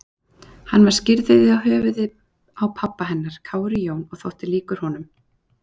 Hann var skírður í höfuðið á pabba hennar, Kári Jón, og þótti líkur honum.